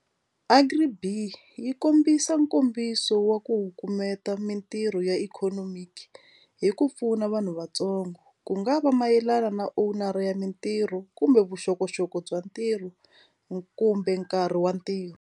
Agri B_E_E yi kombisa nkombiso wa ku wu kufumeta mitirho ya ikhonomi ke hi ku pfuna vanhu vatsongo ku nga va mayelana na owner ya mintirho kumbe vuxokoxoko bya ntirho kumbe nkarhi wa ntirho.